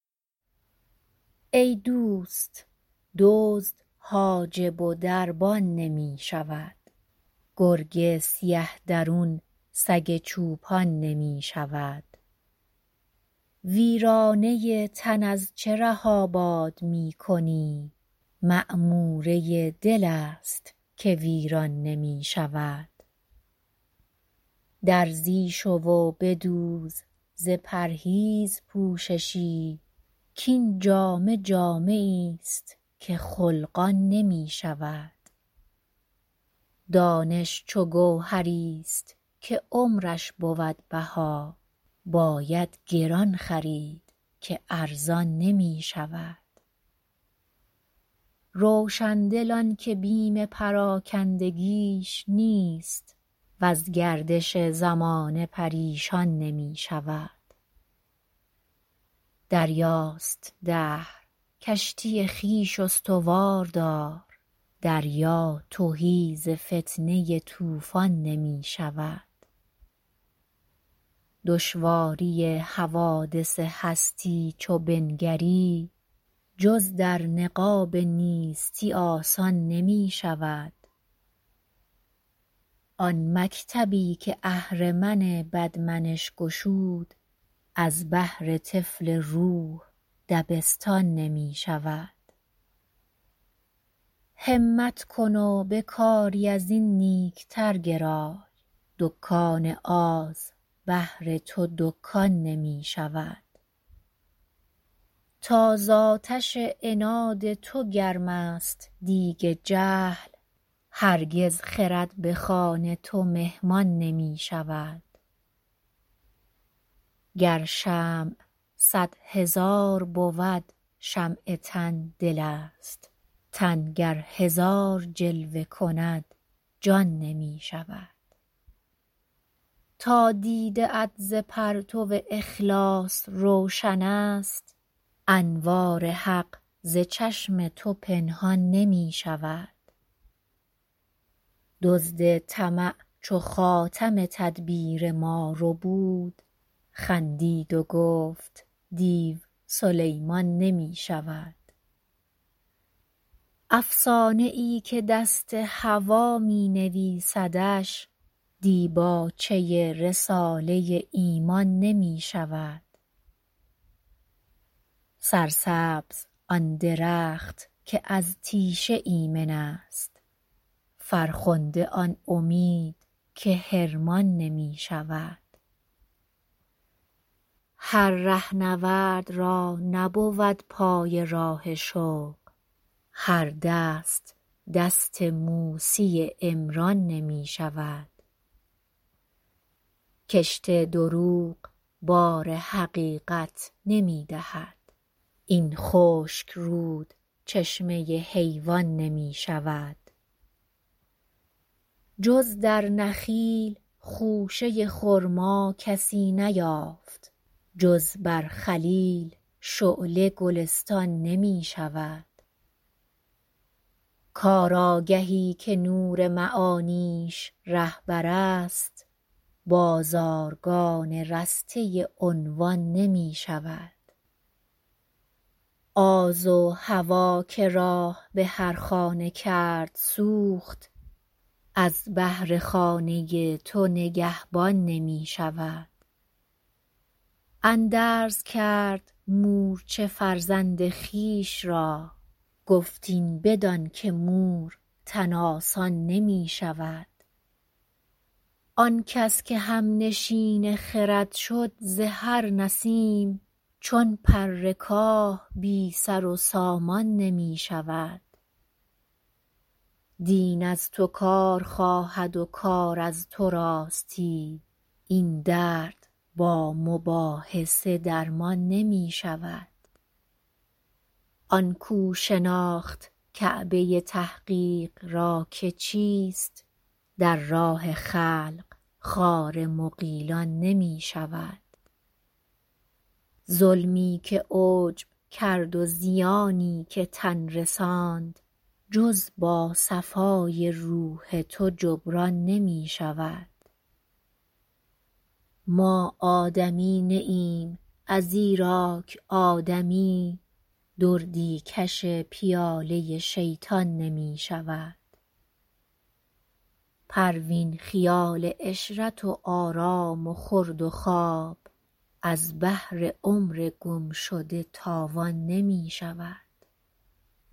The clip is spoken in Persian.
ای دوست دزد حاجب و دربان نمی شود گرگ سیه درون سگ چوپان نمی شود ویرانه تن از چه ره آباد میکنی معموره دلست که ویران نمی شود درزی شو و بدوز ز پرهیز پوششی کاین جامه جامه ایست که خلقان نمی شود دانش چو گوهریست که عمرش بود بها باید گران خرید که ارزان نمی شود روشندل آنکه بیم پراکندگیش نیست وز گردش زمانه پریشان نمی شود دریاست دهر کشتی خویش استوار دار دریا تهی ز فتنه طوفان نمی شود دشواری حوادث هستی چو بنگری جز در نقاب نیستی آسان نمی شود آن مکتبی که اهرمن بد منش گشود از بهر طفل روح دبستان نمی شود همت کن و به کاری ازین نیکتر گرای دکان آز بهر تو دکان نمی شود تا زاتش عناد تو گرمست دیگ جهل هرگز خرد بخوان تو مهمان نمی شود گر شمع صد هزار بود شمع تن دلست تن گر هزار جلوه کند جان نمی شود تا دیده ات ز پرتو اخلاص روشن است انوار حق ز چشم تو پنهان نمی شود دزد طمع چو خاتم تدبیر ما ربود خندید و گفت دیو سلیمان نمی شود افسانه ای که دست هوی مینویسدش دیباچه رساله ایمان نمی شود سرسبز آن درخت که از تیشه ایمن است فرخنده آن امید که حرمان نمی شود هر رهنورد را نبود پای راه شوق هر دست دست موسی عمران نمی شود کشت دروغ بار حقیقت نمیدهد این خشک رود چشمه حیوان نمی شود جز در نخیل خوشه خرما کسی نیافت جز بر خلیل شعله گلستان نمی شود کار آگهی که نور معانیش رهبرست بازارگان رسته عنوان نمی شود آز و هوی که راه بهر خانه کرد سوخت از بهر خانه تو نگهبان نمی شود اندرز کرد مورچه فرزند خویشرا گفت این بدان که مور تن آسان نمی شود آنکس که همنشین خرد شد ز هر نسیم چون پر کاه بی سر و سامان نمی شود دین از تو کار خواهد و کار از تو راستی این درد با مباحثه درمان نمی شود آن کو شناخت کعبه تحقیق را که چیست در راه خلق خار مغیلان نمی شود ظلمی که عجب کرد و زیانی که تن رساند جز با صفای روح تو جبران نمی شود ما آدمی نی ایم از ایراک آدمی دردی کش پیاله شیطان نمی شود پروین خیال عشرت و آرام و خورد و خواب از بهر عمر گمشده تاوان نمی شود